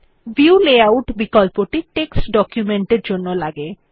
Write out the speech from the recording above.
view layout বিকল্পটি text document এর জন্য লাগে